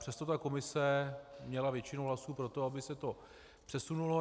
Přesto ta komise měla většinu hlasů pro to, aby se to přesunulo.